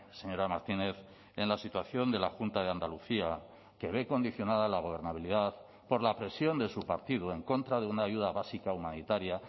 señora martínez en la situación de la junta de andalucía que ve condicionada la gobernabilidad por la presión de su partido en contra de una ayuda básica humanitaria